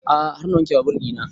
A'a har na wanke babur ina